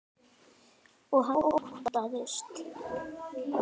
Og hann óttast.